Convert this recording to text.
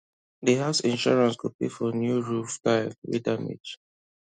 the house insurance go pay for new roof tile wey damage